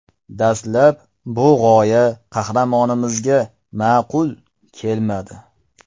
Dastlab bu g‘oya qahramonimizga ma’qul kelmadi.